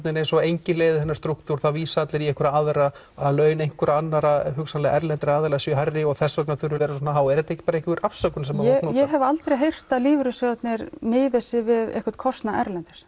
eins og enginn leiði þennan strúktúr það vísa allir í einhverja aðra að laun einhverra annarra og hugsanlega erlendra aðila séu hærri og þess vegna þurfi launin að vera svona há er þetta ekki bara einhver afsökun sem ég hef aldrei heyrt að lífeyrissjóðirnir miði sig við einhvern kostnað erlendis